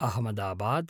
Ahmedabad